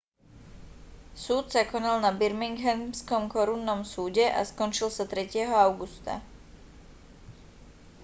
súd sa konal na birminghamskom korunnom súde a skončil sa 3. augusta